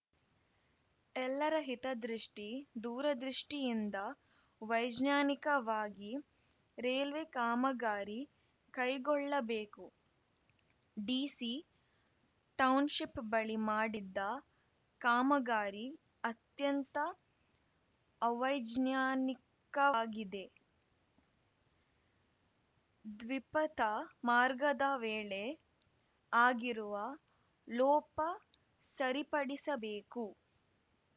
ಎಲ್ಲರ ಹಿತದೃಷ್ಟಿ ದೂರದೃಷ್ಟಿಯಿಂದ ವೈಜ್ಞಾನಿಕವಾಗಿ ರೈಲ್ವೆ ಕಾಮಗಾರಿ ಕೈಗೊಳ್ಳಬೇಕು ಡಿಸಿ ಟೌನ್‌ಶಿಪ್‌ ಬಳಿ ಮಾಡಿದ್ದ ಕಾಮಗಾರಿ ಅತ್ಯಂತ ಅವೈಜ್ಞಾನಿಕವಾಗಿದೆ ದ್ವಿಪಥ ಮಾರ್ಗದ ವೇಳೆ ಆಗಿರುವ ಲೋಪ ಸರಿಪಡಿಸಬೇಕು